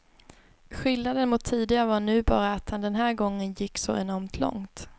Skillnaden mot tidigare var nu bara att han den här gången gick så enormt långt.